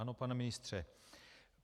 Ano, pane ministře.